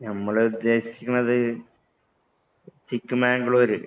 ഞമ്മള് ഉദ്ദേശിക്കുന്നത് ചിക്ക് മാംഗ്ലൂര്